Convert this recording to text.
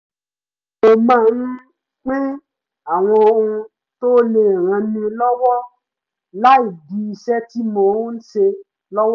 mo máa ń pín àwọn ohun tó lè ran ni lọ́wọ́ láì dí iṣẹ́ tí mò ń ṣe lọ́wọ́